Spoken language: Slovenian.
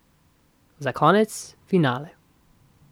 Za konec, finale.